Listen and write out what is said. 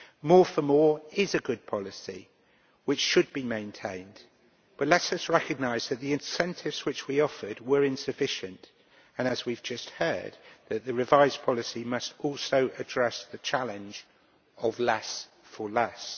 More for more' is a good policy which should be maintained, but let us recognise that the incentives which we offered were insufficient. And, as we have just heard, the revised policy must also address the challenge of less for less'.